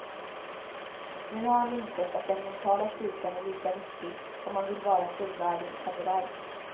Nu har han insett att den mentala styrkan är lika viktig om man vill vara en fullvärdig samuraj.